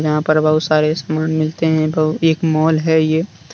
यहां पर बहुत सारे सामान मिलते हैं बहु एक माल है ये।